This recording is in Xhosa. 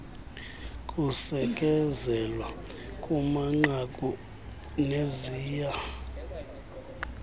kusekezelwa kumanqaku neziya